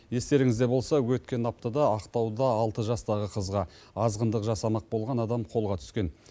естеріңізде болса өткен аптада ақтауда алты жастағы қызға азғындық жасамақ болған адам қолға түскен